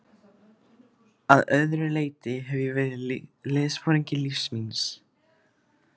Að öðru leyti hef ég verið liðsforingi lífs míns.